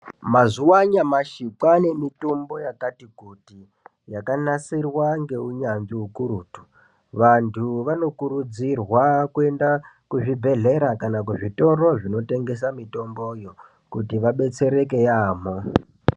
Mazuwa anyamashi kwane mitombo yakati kuti yakanasirwa ngeunyanzvi ukurutu vantu vanokurudzirwa kuenda kuzvibhehlera kana kuzvitoro zvinotengesa mitombyo kuti vabetsereke yambo.